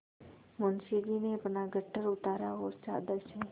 मुंशी जी ने अपना गट्ठर उतारा और चादर से